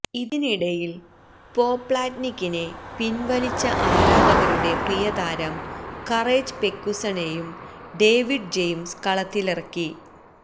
ഇതിനിടയില് പോപ്ലാറ്റ്നിക്കിനെ പിന്വലിച്ച ആരാധകരുടെ പ്രിയതാരം കറേജ് പെക്കുസണെയും ഡേവിഡ് ജെയിംസ് കളത്തിലിറക്കി